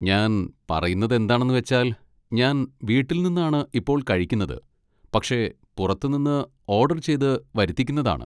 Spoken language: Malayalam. ഞാൻ പറയുന്നതെന്താണെന്ന് വെച്ചാൽ, ഞാൻ വീട്ടിൽ നിന്നാണ് ഇപ്പൊ കഴിക്കുന്നത്, പക്ഷെ പുറത്ത് നിന്ന് ഓഡർ ചെയ്ത് വരുത്തിക്കുന്നതാണ്.